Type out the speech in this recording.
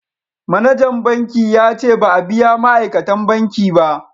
Manajan banki ya ce ba a biya ma'aikatan banki ba